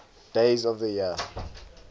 days of the year